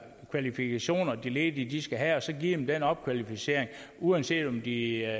kvalifikationer de ledige skal have og så give dem den opkvalificering uanset om de er